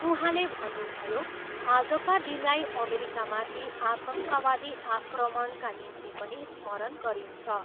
उहाँले भन्नुभयो, आजका दिनलाई अमेरिकामाथि आतङ्कवादी आक्रमणका निम्ति पनि स्मरण गरिन्छ।